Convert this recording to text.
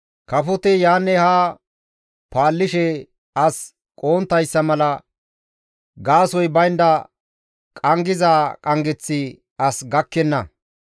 Kafoti yaanne haa paallishe as qohonttayssa mala, gaasoykka baynda qanggiza qanggeththi as gakkenna.